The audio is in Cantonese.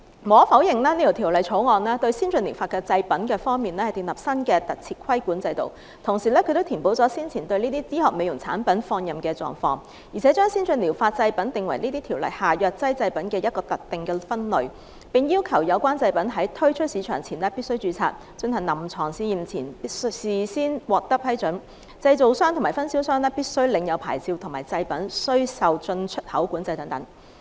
無可否認，《條例草案》對先進療法製品建立了新的規管制度，同時亦填補了先前對醫學美容產品放任不管的漏洞，而且將先進療法製品定為《條例》下藥劑製品的一個特定分類，並要求製品在推出市場前必須註冊，進行臨床試驗前須事先獲得批准，製造商和分銷商必須領有牌照和製品須受進出口管制等。